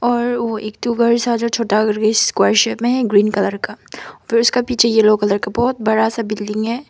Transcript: और ओ एक ठू घर सा जो छोटा करके स्क्वायर शेप में है ग्रीन कलर का फिर उसका पीछे येलो कलर का बहुत बड़ा सा बिल्डिंग है।